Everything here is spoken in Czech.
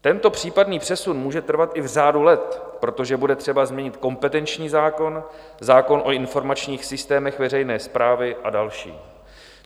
Tento případný přesun může trvat i v řádu let, protože bude třeba změnit kompetenční zákon, zákon o informačních systémech veřejné správy a další.